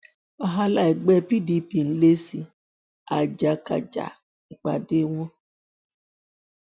wàhálà ẹgbẹ pdp ń le sí i àjàgàkà nípàdé wọn